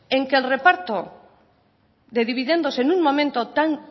en que el reparto de dividendos en un momento tan